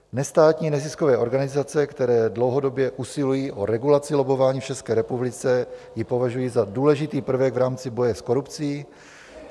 Nestátní neziskové organizace, které dlouhodobě usilují o regulaci lobbování v České republice, ji považují za důležitý prvek v rámci boje s korupcí.